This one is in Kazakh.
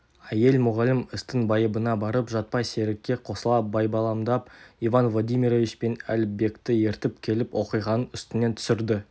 әйел мұғалім істің байыбына барып жатпай серікке қосыла байбаламдап иван владимирович пен әліпбекті ертіп келіп оқиғаның үстінен түсірді